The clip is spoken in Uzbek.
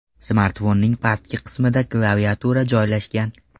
Smartfonning pastki qismida klaviatura joylashgan.